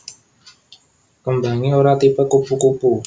Kembangé ora tipe kupu kupu